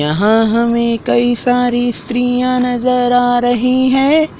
यहां हमें कई सारी स्त्रियां नजर आ रही है।